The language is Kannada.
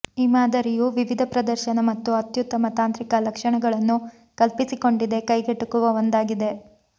ಈ ಮಾದರಿಯು ವಿವಿಧ ಪ್ರದರ್ಶನ ಮತ್ತು ಅತ್ಯುತ್ತಮ ತಾಂತ್ರಿಕ ಲಕ್ಷಣಗಳನ್ನು ಕಲ್ಪಿಸಿಕೊಂಡಿದೆ ಕೈಗೆಟುಕುವ ಒಂದಾಗಿದೆ